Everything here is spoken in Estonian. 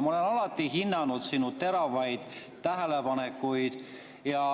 Ma olen alati hinnanud sinu teravaid tähelepanekuid ja